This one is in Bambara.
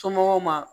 Somɔgɔw ma